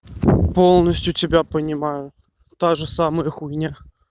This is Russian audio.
полностью тебя понимаю та же самая хуйня